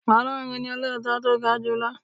Ọlọ́run ni olóòótọ́ tó ga julọ.